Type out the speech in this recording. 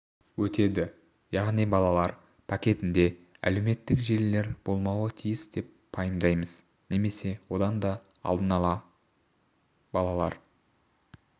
өтеді яғни балалар пакетінде әлеуметтік желілер болмауы тиіс деп пайымдаймыз немесе онда алдын ала балалар